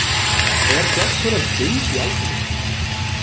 Er Fjallkonan geymd í Alþingishúsinu?